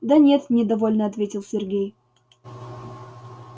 да нет недовольно ответил сергей